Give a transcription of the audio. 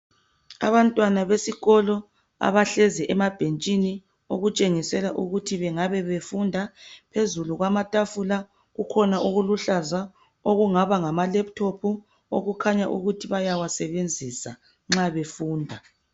Abantwana besikolo abehlezi emabhentshini okutshengisela ukuthi bengabe befunda , phezulu kwetafula kukhona okungaba luhlaza amalephuthophu okuthi bayasebenzisa nxa befunda.